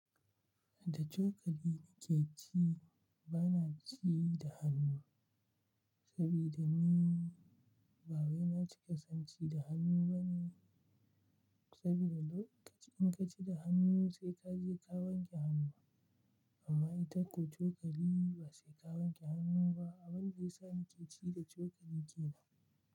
Da cokali nake ci, ba na ci da hannu. Sabida ni ba wai na ci kasanci da hannu bane. Sabida lokaci in ka ci da hannu sai ka je ka wanke hannu. Amma ita ko cokali ba sai ka wanke hannu ba, abinda yasa nake ci da cokali ke nan.